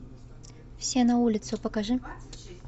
все на улицу покажи